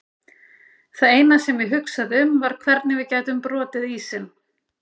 Það eina sem ég hugsaði um var hvernig við gætum brotið ísinn.